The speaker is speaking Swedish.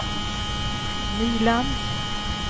Nyland